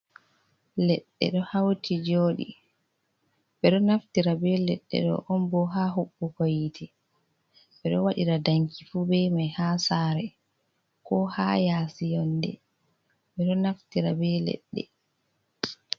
Leɗde ɗo hauti joɗi, ɓe ɗo naftira be leɗɗe ɗo on bo ha huɓɓugo yite. Ɓe ɗo waɗira danki fu be mai ha sare, ko ha yasi yonde, ɓe ɗo naftira be leɗɗe.